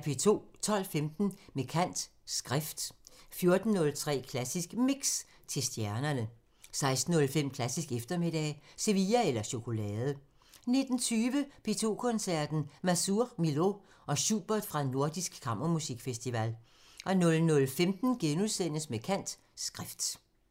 12:15: Med kant – Skrift 14:03: Klassisk Mix – til stjernerne 16:05: Klassisk eftermiddag – Sevilla eller chokolade 19:20: P2 Koncerten – Mazur, Milhaud og Schubert fra Nordisk Kammermusikfestival 00:15: Med kant – Skrift *